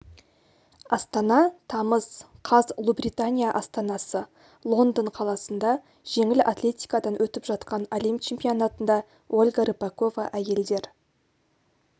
астана тамыз қаз ұлыбритания астанасы лондон қаласында жеңіл атлетикадан өтіп жатқан әлем чемпионатында ольга рыпакова әйелдер